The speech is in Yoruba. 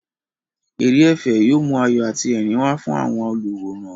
Eré ẹ̀fẹ̀ yóò mú ayọ̀ àti ẹ̀rín wá fún àwọn olùwòran.